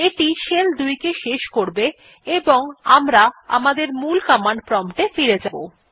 এইটি shell ২ কে শেষ করবে এবং আমরা আমাদের মূল কমান্ড প্রম্পট এ ফিরে যাব